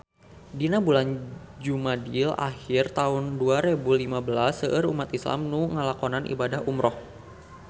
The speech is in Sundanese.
Dina bulan Jumadil ahir taun dua rebu lima belas seueur umat islam nu ngalakonan ibadah umrah